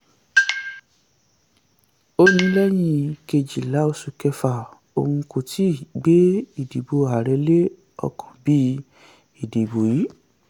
ó ní lẹ́yìn kejìlá oṣù kẹfà òun kò tíì gbé ìdìbò ààrẹ lé ọkàn bí um ìdìbò yìí.